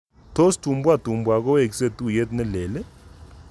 Tos Tumbua Tumbua kowekse tuyet nelel?